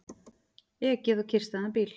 Ekið á kyrrstæðan bíl